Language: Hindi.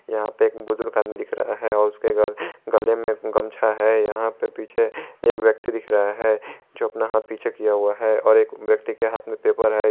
यहां पे एक बुजुर्ग आदमी दिख रहा है और उसके घर गले में एक गमछा है यहां पे पीछे एक व्यक्ति दिख रहा है जो अपना हाथ पीछे किया हुआ है और एक व्यक्ति के हाथ में पेपर है ये--